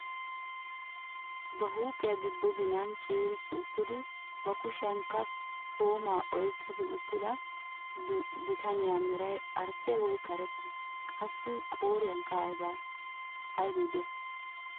Ba huuphphiyaa giddo ginaan ciirissi uttidi ba kushiyaankka toomaa oyqqidi uttida bitaniyaa meray arsseeye woy karettee? Qassi a qooriyankka aybee diyay?